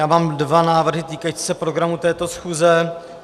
Já mám dva návrhy týkající se programu této schůze.